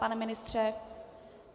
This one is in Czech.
Pane ministře?